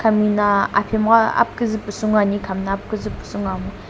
hami na aphenmgha aphikuzü pusu ngoani khami na aphikuzü pusu ngoamo.